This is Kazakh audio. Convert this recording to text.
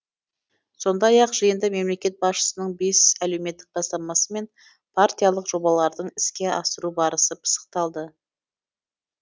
сондай ақ жиында мемлекет басшысының бес әлеуметтік бастамасы мен партиялық жобалардың іске асыру барысы пысықталды